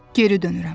Geri dönürəm.